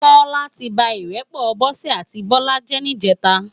Tola ti bá irèpò Bose áti Bola jè nijètá